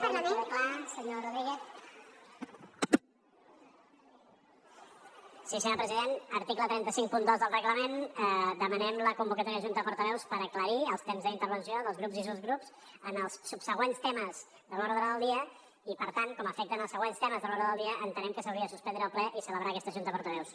sí senyor president article tres cents i cinquanta dos del reglament demanem la convocatòria de junta de portaveus per aclarir els temps d’intervenció dels grups i subgrups en els subsegüents temes de l’ordre del dia i per tant com afecten els següents temes de l’ordre del dia entenem que s’hauria de suspendre el ple i celebrar aquesta junta de portaveus